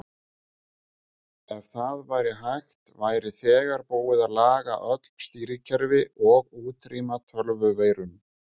Ef það væri hægt væri þegar búið að laga öll stýrikerfi og útrýma tölvuveirum.